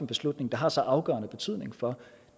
beslutning der har så afgørende betydning for